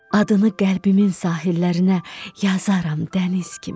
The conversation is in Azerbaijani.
Adını qəlbimin sahillərinə yazaram dəniz kimi.